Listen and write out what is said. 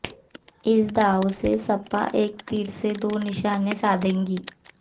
इस दांव से सपा एक तीर से दो निशाने साधेगी